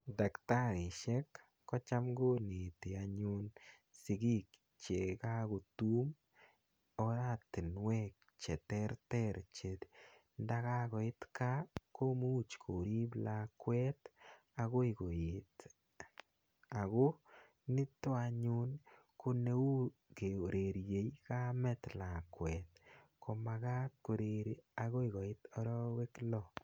Dakitarishek ko cham koneti anyun sikiik che kakotum oratinwek che terter che nda kakoit gaa komuch ko eip lakwet akoi koet. Ako nito anyun ko neu kererie kamet lakwet. Ko makat koreri akoi koit arawek lo.